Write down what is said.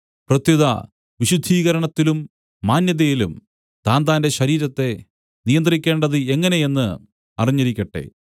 പ്രത്യുത വിശുദ്ധീകരണത്തിലും മാന്യതയിലും താന്താന്റെ ശരീരത്തെ നിയന്ത്രിക്കേണ്ടത് എങ്ങനെ എന്ന് അറിഞ്ഞിരിക്കട്ടെ